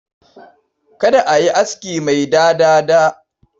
Kada a yi aski mai dada-dada.